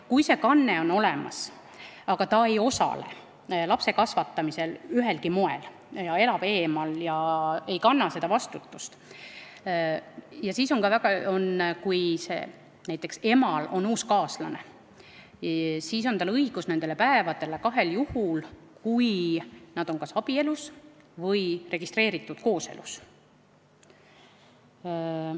Kui kanne on olemas, aga vanem ei osale lapse kasvatamisel ühelgi moel, elab eemal ega kanna vastutust ja kui näiteks emal on uus kaaslane, siis on sel õigus nendele päevadele kahel juhul: kui nad on kas abielus või registreeritud kooselus.